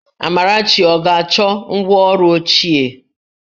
Amarachi ọ ga-achọ ngwá ọrụ ochie?